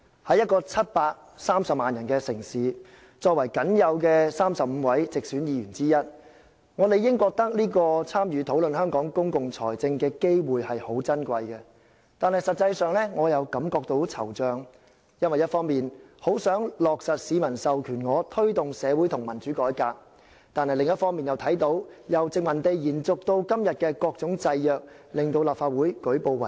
在一個730萬人的城市，作為僅有的35位直選議員之一，我理應認為這次參與討論香港公共財政的機會很珍貴，但實際上，我覺得很惆悵，因為一方面我很想落實市民授權我推動的社會和民主改革，但另一方面又看到由殖民地延續至今的各種制約，令立法會舉步維艱。